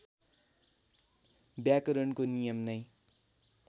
व्याकरणको नियम नै